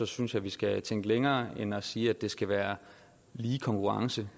synes jeg vi skal tænke længere end at sige at det skal være lige konkurrence